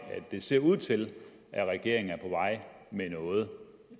at det ser ud til at regeringen er på vej med noget